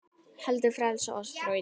heldur frelsa oss frá illu.